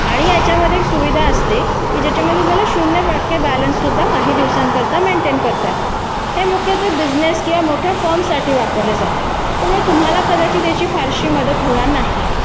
आणि याच्यामध्ये सुविधा असते शून्य टक्के बॅलन्स सुद्धा काही दिवसासाठी मेंटेन करता येतो हे मुख्य तर बिजनेस किंवा मोठ्या फॉर्म साठी वापरले जातात त्यामुळे तुम्हाला कर्जाची त्याची फारशी मदत होणार नाही यामध्ये जी अमाऊंट डिपॉझिट केले जाते त्याच्यावरती व्याज नसते त्यामुळे तुम्हाला त्याचा फायदा होणार नाही